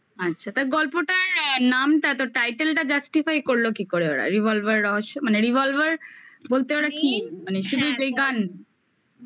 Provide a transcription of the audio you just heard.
আচ্ছা তা গল্পটার নামটা তো title টা justify করলো কি করে ওরা revolver রহস্য মানে revolver বলতে ওরা কি মানে শুধু এই গান?